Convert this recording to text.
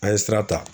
An ye sira ta